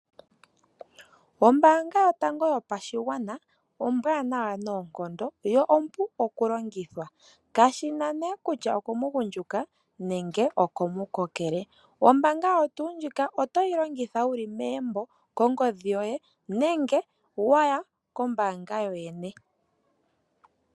Ombaanga yotango yopashigwana ombwaanawa noonkondo yo ompu okulongithwa, kashi na nee kutya okomugundjuka nenge okomukokele. Ombaanga oyo tuu ndjika oto yi longitha wu li megumbo nenge kongodhi yoye, nenge wa ya kombaanga kokwene.